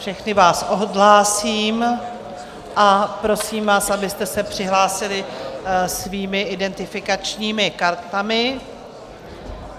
Všechny vás odhlásím a prosím vás, abyste se přihlásili svými identifikačními kartami.